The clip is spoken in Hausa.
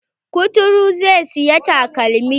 Kuturun zai siya takalmi.